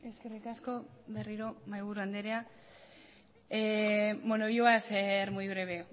eskerrik asko berriro mahaiburu andrea yo voy a ser muy breve